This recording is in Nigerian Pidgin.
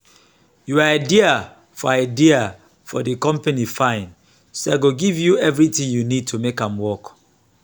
your idea for idea for the company fine so i go give you everything you need to make am work